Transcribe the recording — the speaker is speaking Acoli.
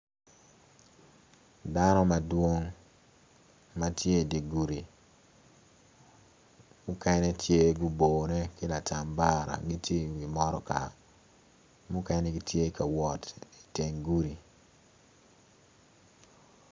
Dano madwong ma tye idi gudi mukene tye ma gubone ki latambara gitye iwi motoka mukene gitye ka wot iteng gudi.